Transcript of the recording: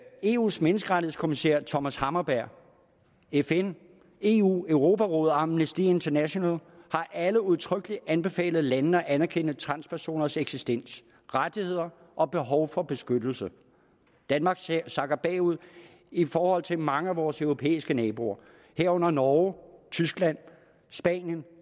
eus menneskerettighedskommissær thomas hammarberg fn eu europarådet og amnesty international har alle udtrykkeligt anbefalet landene at anerkende transpersoners eksistens rettigheder og behov for beskyttelse danmark sakker bagud i forhold til mange af vores europæiske naboer herunder norge tyskland spanien